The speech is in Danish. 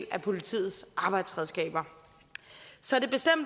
af politiets arbejdsredskaber så det